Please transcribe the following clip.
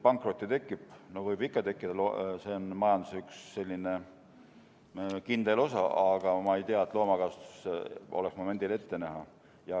Pankrotte tekib, võib ikka tekkida, see on majanduse üks kindel osa, aga ma ei tea, et loomakasvatuses oleks neid momendil ette näha.